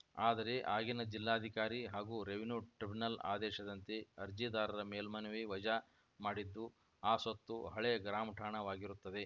ಆದರೆ ಆಗಿನ ಜಿಲ್ಲಾಧಿಕಾರಿ ಹಾಗೂ ರೆವಿನ್ಯೂ ಟ್ರಿಬುನಲ್‌ ಆದೇಶದಂತೆ ಅರ್ಜಿದಾರರ ಮೇಲ್ಮನವಿ ವಜಾ ಮಾಡಿದ್ದು ಆ ಸ್ವತ್ತು ಹಳೆ ಗ್ರಾಮಠಾಣವಾಗಿರುತ್ತದೆ